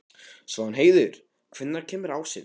Svanheiður, hvenær kemur ásinn?